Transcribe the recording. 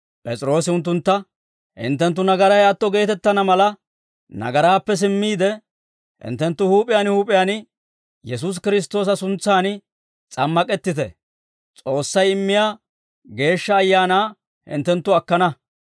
P'es'iroosi unttuntta, «Hinttenttu nagaray atto geetettana mala, nagaraappe simmiide, hinttenttu huup'iyaan huup'iyaan Yesuusi Kiristtoosa suntsan s'ammak'ettite. S'oossay immiyaa Geeshsha Ayaanaa hinttenttu akkana.